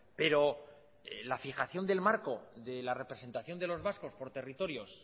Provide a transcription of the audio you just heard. pero la fijación del marco de la representación de los vascos por territorios